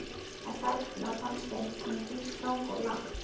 En þarna fannst þeim hún víst ganga of langt.